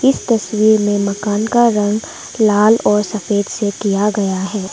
इस तस्वीर में मकान का रंग लाल और सफेद से किया गया है।